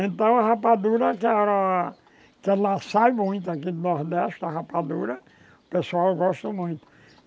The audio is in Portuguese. Então a rapadura, que ela que ela sai muito aqui do Nordeste, a rapadura, o pessoal gosta muito.